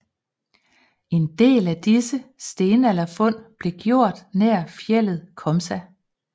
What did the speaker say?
En del af disse stenalderfund blev gjort nær fjeldet Komsa